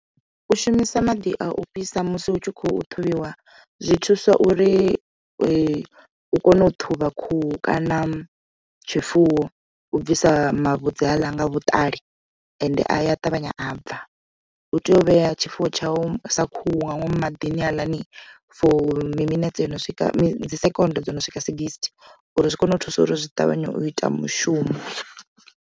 U shumisa maḓi a u fhisa musi hu tshi khou ṱhuvhiwa zwi thusa uri u kone u ṱhuvha khuhu kana tshifuwo u bvisa mavhudzi haaḽa nga vhuṱali ende a ya ṱavhanya a bva u tea u vhea tshifuwo tshau sa khuhu nga ngomu maḓini haaḽani for mi minetse yono swika second dzo no swika sigisthi uri zwi kone u thusa uri zwi ṱavhanye u ita mushumo.